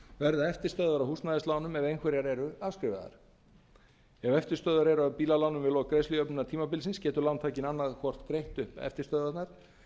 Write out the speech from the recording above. verða eftirstöðvar af húsnæðislánum ef einhverjar eru afskrifaðar ef eftirstöðvar eru af bílalánum við lok greiðslujöfnunartímabilsins getur lántakinn annað hvort greitt upp eftirstöðvarnar